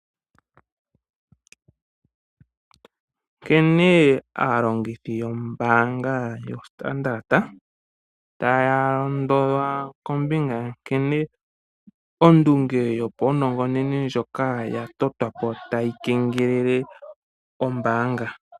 Nkene aalongithi yombaanga yoStandard taya londodhwa kombinga nkene ondunge yopaunongononi ndjoka ya totwa po tayi kengelele ombaanga.